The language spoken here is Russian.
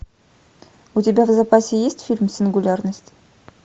у тебя в запасе есть фильм сингулярность